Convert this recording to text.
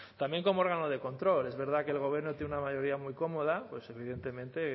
también como órgano de control es verdad que el gobierno tiene una mayoría muy cómoda pues evidentemente